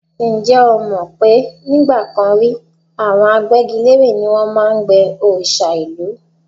Ǹjẹ́ o mọ̀ pé nígbà kan rí, àwọn agbẹ́gilére ni wọ́n máa ń gbẹ́ òòṣà ìlú?